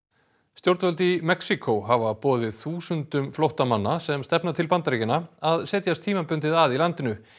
stjórnvöld í Mexíkó hafa boðið þúsundum flóttamanna sem stefna til Bandaríkjanna að setjast tímabundið að í landinu